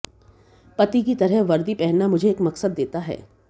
पति की तरह वर्दी पहनना मुझे एक मकसद देता है